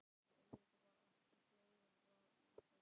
Auðvitað var ekki glóra í þessu.